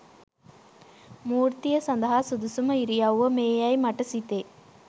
මූර්තිය සදහා සුදුසුම ඉරියව්ව මේ යැයි මට සිතේ